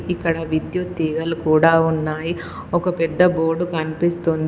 ఇక్కడ విద్యుత్ తీగలు కూడా ఉన్నాయి ఒక పెద్ద బోర్డు కనిపిస్తోంది.